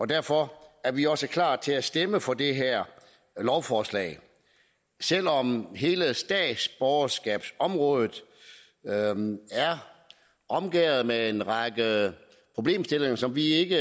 derfor er vi også klar til at stemme for det her lovforslag selv om hele statsborgerskabsområdet er omgærdet med en række problemstillinger som vi ikke